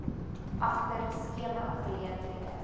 agter skema geleenthede